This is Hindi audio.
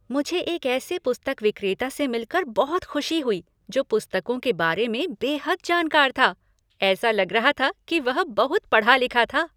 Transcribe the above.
मुझे एक ऐसे पुस्तक विक्रेता से मिल कर बहुत खुशी हुई जो पुस्तकों के बारे में बेहद जानकार था। ऐसा लग रहा था कि वह बहुत पढ़ा लिखा था।